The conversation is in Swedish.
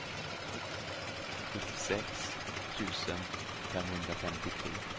sjuttiosex tusen femhundrafemtiotre